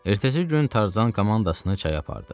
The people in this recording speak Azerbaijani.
Ertəsi gün Tarzan komandasını çaya apardı.